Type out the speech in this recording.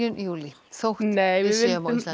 júlí þó við